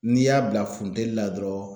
N'i y'a bila funtɛni la dɔrɔn